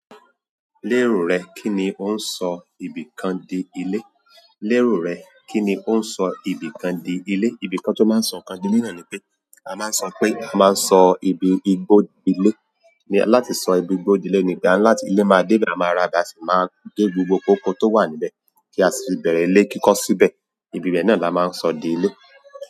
Lérò rẹ, kíni ó ń sọ ìbí kan di ilé? Lérò rẹ, kí ni ó ń sọ ìbí kan di ilé? Ìbí kan tó máa ń sọ ńkan di mìíràn ni pé a máa ń sọ pé a máa ń sọ ìbí igbó di ilé. Láti sọ ibi igbó di ilé ni, ìgbà a ni latí ilé máa dé ibẹ̀, a máa ra ibe, a sì máa gé gbogbo ikoóko tó wà níbẹ̀ kí a sì bẹ̀rẹ̀ ilé kíkọ́ síbẹ̀. Ibi bẹ́ẹ̀ náà la máa ń sọ di ilé.